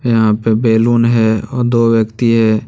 यहां पे बैलून है और दो व्यक्ति है।